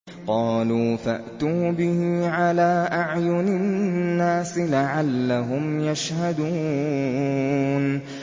قَالُوا فَأْتُوا بِهِ عَلَىٰ أَعْيُنِ النَّاسِ لَعَلَّهُمْ يَشْهَدُونَ